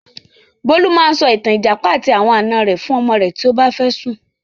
Bólú máa sọ ìtàn 'Ìjàpá àti àwọn àná rẹ' fún ọmọ rẹ̀ tí ó bá fẹ́ sùn.